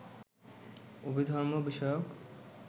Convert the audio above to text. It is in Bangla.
অভিধর্ম বিষয়ক